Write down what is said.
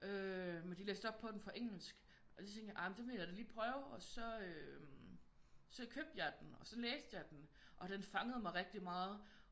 Øh men de læste op på den fra engelsk og så tænkte jeg ah den vil jeg da lige prøve og så købte jeg den og så læste jeg den og den fangede mig rigtig meget